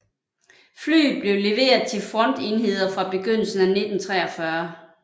Flyet blev leveret til frontenheder fra begyndelsen af 1943